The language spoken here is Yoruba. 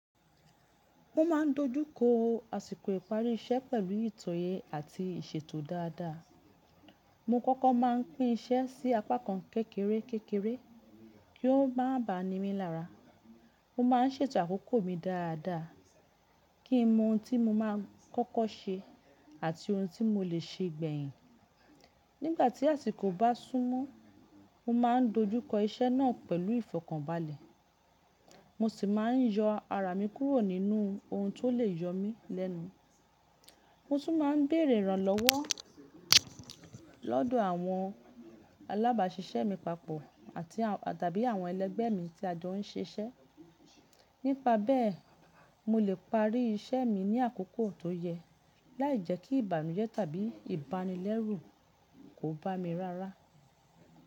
Mo ma n dojúkọ àsìkò ìparí iṣẹ́ pẹ̀lú ìtoyẹ àti ìṣètò dáadáa. Mo kọ́kọ́ má n pín iṣẹ́ sí apá kan kékeré kékeré kí o má ba ni mí lára. Mo má a n sètò àkókò mi dáadáa kí n mọ ohun tí mo má a kọ́kọ́ ṣe àti ohun tí mo lè ṣe gbẹ̀yìn. Nígbà tí àsìkò bá súnmọ́, mo ma n dojú kọ iṣẹ́ náà pẹ̀lú ìfọ̀kànbalẹ̀, mo sì má a n yọ ara mi kúrò nínú ohun tó lè yọ mi lẹ́nu. Mo tún má n béèrè ìrànlọ́wọ́ lọ́dọ̀ àwọn alábàaṣiṣẹ́ mi papọ̀ tàbí àwọn ẹlẹ́gbẹ́ mi tí a jọ n ṣiṣẹ́. Nípa bẹ́ẹ̀, mo lè parí iṣẹ́ mi ní àkókò tó yẹ láìjẹ́ kí ìbànújẹ́ tàbí ìbánilẹ́rù kò bá mi rárá.